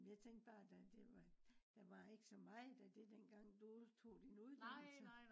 jamen jeg tænkte bare at det var der var ikke så meget af det dengang du to din unddannelse